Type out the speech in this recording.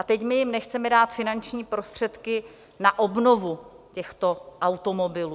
A teď my jim nechceme dát finanční prostředky na obnovu těchto automobilů.